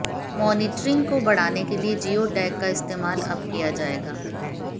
monitoring को बढ़ाने के लिए जियो टैग का इस्तेमाल अब किया जाएगा